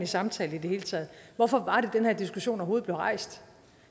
samtale i det hele taget hvorfor det var diskussion overhovedet blev rejst